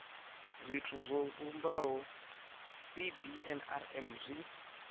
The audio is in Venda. zwithu zwo vhumbaho cbnrm zwi